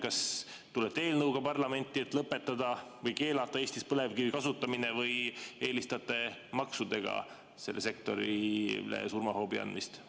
Kas tulete parlamenti eelnõuga, et lõpetada või keelata Eestis põlevkivi kasutamine, või eelistate maksudega sellele sektorile surmahoobi andmist?